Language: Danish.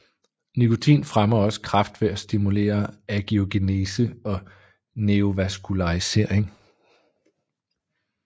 Nikotin fremmer også kræft ved at stimulere angiogenese og neovaskularisering